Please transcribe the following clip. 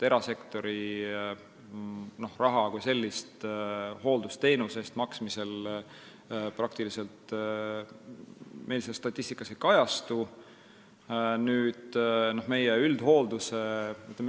Erasektori raha kui selline hooldusteenuse eest maksmisel meil statistikas praktiliselt ei kajastu.